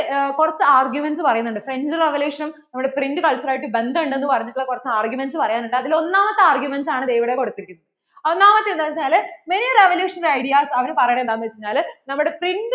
കുറച്ചു arguments പറയുണ്ട് French revolution നും നമ്മടെ print culture ഉം ആയിട്ട് ബന്ധം ഉണ്ടെന്നുപറഞ്ഞിട്ടൂള്ള കുറച്ചു arguments പറയാൻ ഉണ്ട് അതിൽ ഒന്നാമത്തെ arguments ആണ് ദേ ഇവിടെ കൊടുത്തിരിക്കുന്നത്. ഒന്നാമത്തെ എന്താന്ന് വെച്ചാല് അവര് പറയുന്നതെന്താന്നു വച്ചാല് main revolution ideas